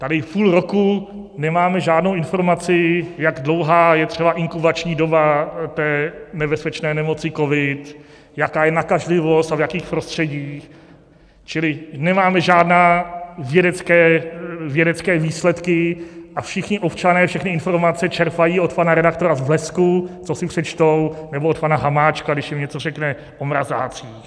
Tady půl roku nemáme žádnou informaci, jak dlouhá je třeba inkubační doba té nebezpečné nemoci covid, jaká je nakažlivost a v jakých prostředích, čili nemáme žádné vědecké výsledky a všichni občané všechny informace čerpají od pana redaktora z Blesku, co si přečtou, nebo od pana Hamáčka, když jim něco řekne o mrazácích.